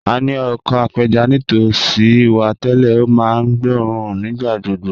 A ní oko apẹja nítòsí wa tẹ́lẹ̀, ó máa ń gbóòórùn nígbà gbogbo